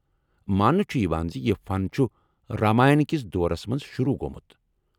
ماننہٕ چھ یوان زِ یہِ فن چُھ راماین کِس دورس منٛز شروع گوٚمُت ۔